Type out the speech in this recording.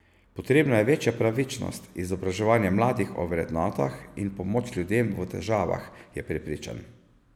Potrebna je večja pravičnost, izobraževanje mladih o vrednotah in pomoč ljudem v težavah, je prepričan.